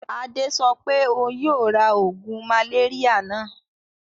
Adé sọ pé òun yóò ra oògùn màléríà náà?